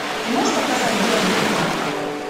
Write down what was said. ты можешь показать город греха